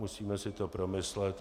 Musíme si to promyslet.